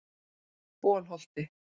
Bolholti